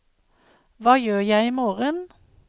hva gjør jeg imorgen